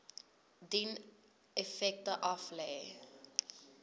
dien effekte aflê